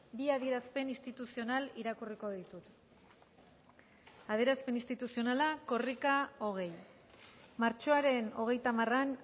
bi adierazpen instituzional irakurriko ditut adierazpen instituzionala korrika hogei martxoaren hogeita hamaran